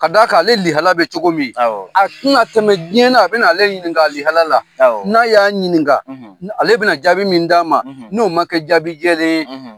Ka d'a kan ale lihala bɛ cogo min a tɛna tɛmɛ diɲɛna a bɛna ale ɲininka alihala la n'a y'a ɲininka ale bɛna jaabi min d'a ma n'o ma kɛ jaabi jɛlen ye.